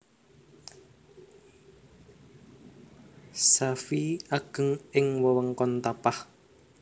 Safee ageng ing wewengkon Tapah